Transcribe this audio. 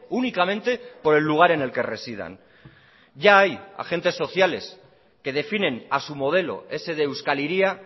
únicamente por el lugar en el que residan ya hay agentes sociales que definen a su modelo ese de euskal hiria